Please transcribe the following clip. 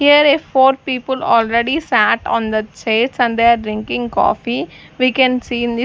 here four people already sat on the chairs and they are drinking coffee we can see in the--